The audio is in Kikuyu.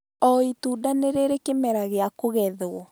O,itunda nĩ rĩrĩ kĩmera gĩa kũgethwo